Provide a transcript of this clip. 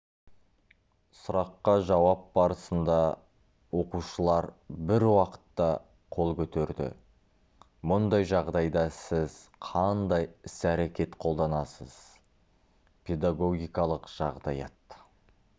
сұраққа жауап барысында оқушылар бір уақытта қол көтерді мұндай жағдайда сіз қандай іс-әрекет қолданасыз педагогикалық жағдайят